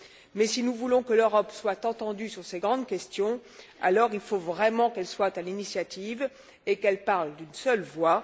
Mais si nous voulons que l'Europe soit entendue sur ces grandes questions, il faut vraiment qu'elle prenne l'initiative et qu'elle parle d'une seule voix.